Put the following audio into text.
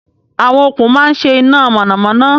Àwọn okùn máa ń ṣe iná mọ̀nàmọ́ná.